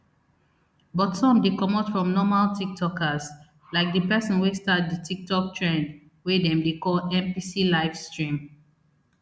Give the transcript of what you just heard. but some dey comot from normal tiktokers like di pesin wey start di tiktok trend wey dem dey call npc live stream